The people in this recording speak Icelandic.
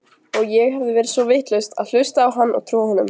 Og ég hafði verið svo vitlaus að hlusta á hann og trúa honum.